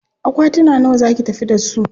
Akwatuna nawa za ki tafi da su?